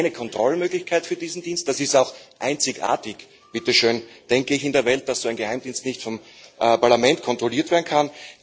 keine Kontrollmöglichkeit für diesen Dienst. Das ist auch einzigartig in der Welt, dass so ein Geheimdienst nicht vom Parlament kontrolliert werden kann.